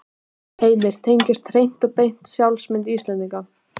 Heimir: Tengjast hreint og beint sjálfsmynd Íslendinga?